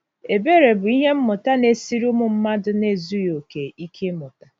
Ebere bụ ihe mmụta na-esiri ụmụ mmadụ na-ezughị okè ike ịmụta.